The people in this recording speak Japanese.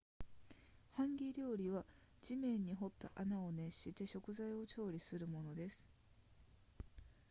ハンギ料理は地面に掘った穴を熱して食材を調理するものです